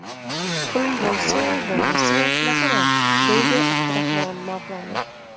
Pulim bo‘lsa, bo‘lmasa, shunaqaman”, deydi Abdurahmon Mavlonov.